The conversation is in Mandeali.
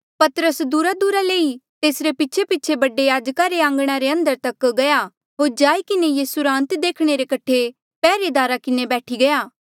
पतरस दूरादूरा ले ई तेसरे पीछेपीछे बडे याजका रे आंघणा रे अंदर तक गया होर जाई किन्हें यीसू रा अंत देखणे रे कठे पैहरेदारा किन्हें बैठी गया